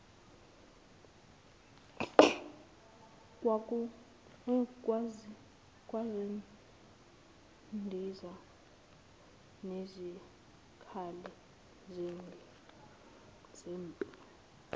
kwezindiza nezikhali zempi